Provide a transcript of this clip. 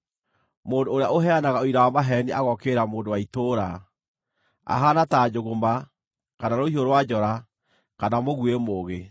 Mũndũ ũrĩa ũheanaga ũira wa maheeni agookĩrĩra mũndũ wa itũũra, ahaana ta njũgũma, kana rũhiũ rwa njora, kana mũguĩ mũũgĩ.